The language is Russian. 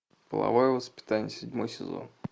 половое воспитание седьмой сезон